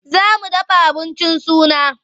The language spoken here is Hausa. Za mu dafa abincin suna.